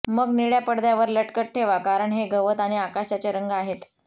मग निळ्या पडद्यावर लटकत ठेवा कारण हे गवत आणि आकाशाचे रंग आहेत